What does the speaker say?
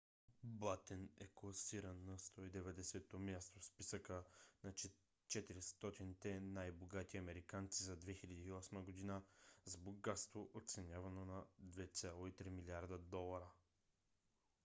батен е класиран на 190-то място в списъка на 400-те най-богати американци за 2008 г. с богатство оценявано на 2,3 милиарда долара